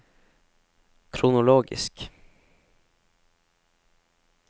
kronologisk